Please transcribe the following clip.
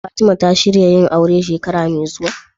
Fatima ta shirya yin aure shekara me zuwa?